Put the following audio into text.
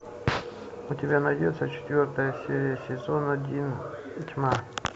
у тебя найдется четвертая серия сезон один тьма